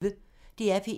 DR P1